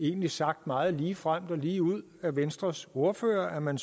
egentlig sagt meget ligefremt og ligeud af venstres ordfører at man